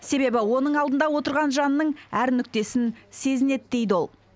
себебі оның алдында отырған жанның әр нүктесін сезінеді дейді ол